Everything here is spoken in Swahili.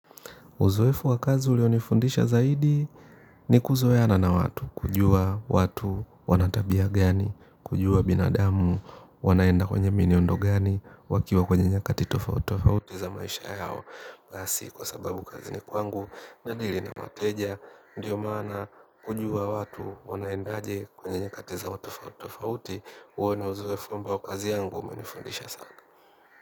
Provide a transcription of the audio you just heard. Uzoefu wakazi ulionifundisha zaidi ni kuzoeana na watu, kujua watu wanatabia gani, kujua binadamu, wanaenda kwenye mienendo gani, wakiwa kwenye nyakati tofauti tofauti za maisha yao si kwa sababu kazini kwangu nadili na wateja, ndiyo maana kujua watu wanaenda aje kwenye nyakati zao tofauti tofauti, wana uzoefu ambao kazi yangu umenifundisha sana.